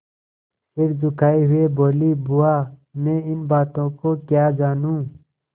सिर झुकाये हुए बोलीबुआ मैं इन बातों को क्या जानूँ